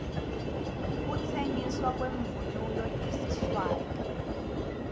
kutsengisna kwemounulo yesiswati